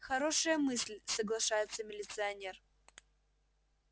хорошая мысль соглашается милиционер